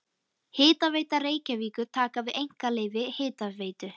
Hitaveita Reykjavíkur taka við einkaleyfi Hitaveitu